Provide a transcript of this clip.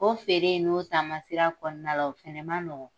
O feere n'o taama siran kɔnɔna la, o fɛnɛ ma nɔgɔn.